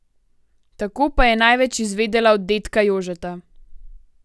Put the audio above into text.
Tako pa je največ izvedela od dedka Jožeta.